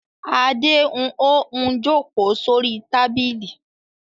Adé ń ó ń jókòó sórí tábìlì.